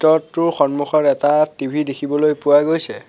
টোৰ সন্মুখত এটা টি_ভি দেখিবলৈ পোৱা গৈছে।